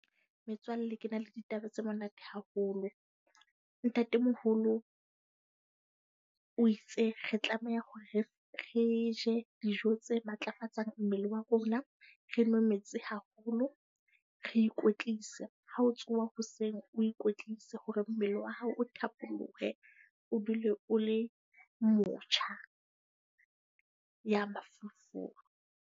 Metswalle ke na le ditaba tse monate haholo. Ntatemoholo o itse re tlameha hore re re je dijo tse matlafatsang mmele wa rona, re nwe metsi haholo. Re ikwetlise, ha o tsoha hoseng o ikwetlise hore mmele wa hao o thapolohe. O dule o le motjha ya mafolofolo.